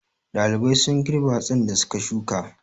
Ɗalibai sun girbe hatsin da su ka shuka.